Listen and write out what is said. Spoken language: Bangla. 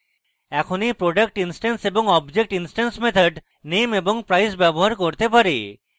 এখন এই product instance বা object instance methods name এবং price ব্যবহার করতে পারে